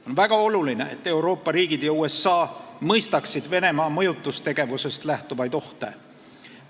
On väga oluline, et Euroopa riigid ja USA mõistaksid Venemaa mõjutustegevusest lähtuvaid ohte.